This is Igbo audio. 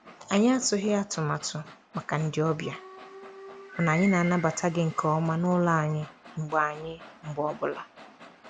Anyị atụghị atụmatụ màkà ndị ọbịa, mana anyị na-anabata gị nke ọma n'ụlọ anyị mgbe anyị mgbe ọ bụla.